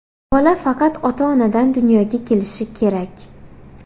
Bola faqat ota-onadan dunyoga kelishi kerak.